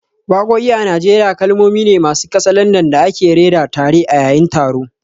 Wakoki a Najeriya kalmomi ne masu katsalandan da ake rera tare a yayin taron.